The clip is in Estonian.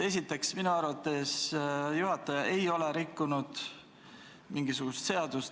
Esiteks, minu arvates juhataja ei ole rikkunud mingisugust seadust.